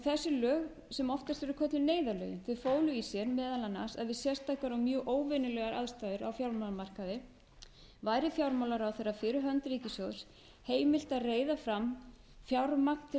þessi lög sem oftast eru kölluð neyðarlögin fólu í sér meðal annars að við sérstakar og mjög óvenjulegar aðstæður á fjármálamarkaði væri fjármálaráðherra fyrir hönd ríkissjóðs heimilt að reiða fram fjármagn til að